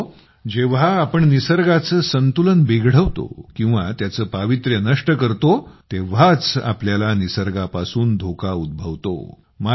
मित्रहो जेव्हा आपण निसर्गाचे संतुलन बिघडवतो किंवा त्याचे पावित्र्य नष्ट करतो तेव्हाच आपल्याला निसर्गापासून धोका उद्भवतो